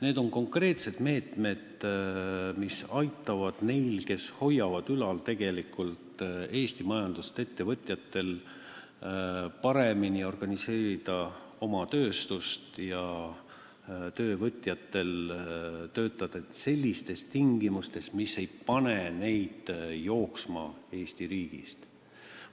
Need on konkreetsed meetmed, mis aitavad neil, kes hoiavad tegelikult ülal Eesti majandust, ettevõtjatel, paremini oma tööstust organiseerida ja töövõtjatel töötada sellistes tingimustes, mis ei pane neid Eesti riigist ära jooksma.